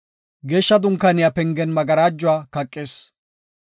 Geeshsha Dunkaaniya pengen magarajuwa kaqis.